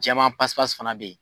Jɛma fana bɛ yen.